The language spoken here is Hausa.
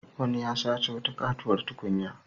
Wani ya sace wata katuwar tukunya.